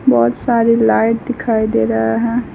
बहोत सारे लाइट दिखाई दे रहा हैं।